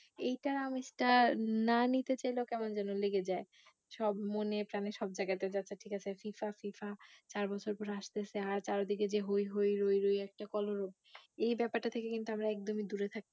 এইটার আমেজটা না নিতে চাইলেও কেমন যেন লেগে যায় সব মনে প্রাণে সব জায়গায়তে যে আচ্ছা ঠিক আছে FIFA, FIFA চার বছর পর আসতেছে আর চারদিকে যে হৈ হৈ রোই রোই একটা কলরব এই ব্যাপারটার থেকে কিন্তু আমরা একদমই দূরে থাকতে